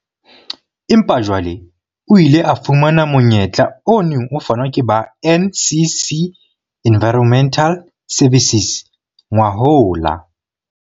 Empa jwale o ile a fumana monyetla o neng o fanwa ke ba NCC Environmental Services ngwahola.